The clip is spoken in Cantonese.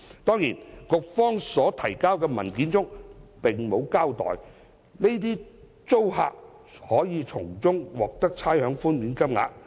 當然，局方提交的文件並沒有交代這些租客可從中獲得的差餉寬免金額。